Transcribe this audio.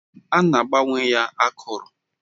A na-agbanwe ya akụrụ.